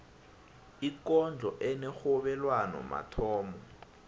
ikondlo enerhobelwano mathomo